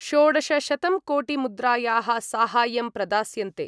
षोडशशतंकोटिमुद्रायाः साहाय्यं प्रदास्यन्ते।